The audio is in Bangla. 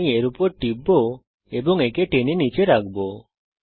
আমি এর উপর টিপব এবং একে টেনে নীচে রাখব